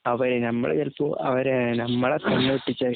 നമ്മള് ചെലപ്പോ അവര് നമ്മടെ കണ്ണുവെട്ടിച്ചു